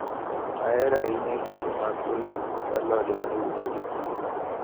Ahero ahinya kido mag olemo kod alode maiuso e chiro.